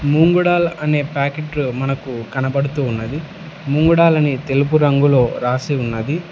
ముంగుడల్ అనే ప్యాకెట్లు మనకు కనబడుతూ ఉన్నది ముంగుడల్ అని తెలుపు రంగులో రాసి ఉన్నది.